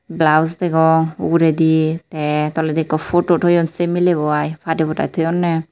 blaus degong uguredi te toledi ikko photo toyon sey miley bo ai padey pudai toyonney.